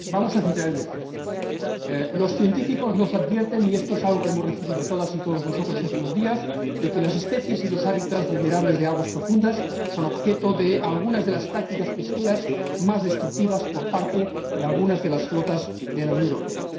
Señora Presidenta, vamos a centrar el debate. Los científicos nos advierten y esto es algo que hemos conocido todas y todos nosotros estos días de que las especies y los hábitats vulnerables de aguas profundas son objeto de algunas de las prácticas pesqueras más destructivas por parte de algunas de las flotas de la Unión Europea.